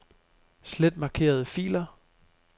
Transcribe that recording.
Slet markerede filer.